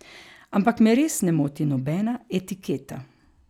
Ampak me res ne moti nobena etiketa.